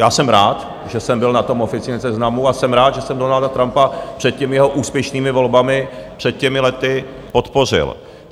Já jsem rád, že jsem byl na tom oficiálním seznamu, a jsem rád, že jsem Donalda Trumpa před těmi jeho úspěšnými volbami, před těmi lety podpořil.